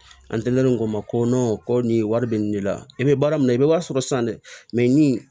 An tɛ len k'o ma ko ko nin wari bɛ nin de la i bɛ baara min na i bɛ wari sɔrɔ san dɛ nin